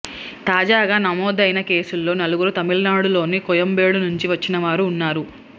తాజాగా నమోదైన కేసుల్లో నలుగురు తమిళనాడులోని కోయంబేడు నుంచి వచ్చినవారు ఉన్నారు